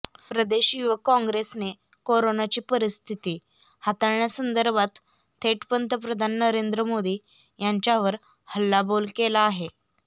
प्रदेश युवक काँग्रेसने करोनाची परिस्थिती हाताळण्यासंदर्भात थेट पंतप्रधान नरेंद्र मोदी यांच्यावर हल्लाबोल केला आहे